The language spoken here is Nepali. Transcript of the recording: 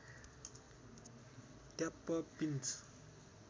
tap pinch